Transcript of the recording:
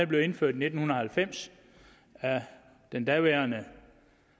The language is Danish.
blev indført i nitten halvfems af den daværende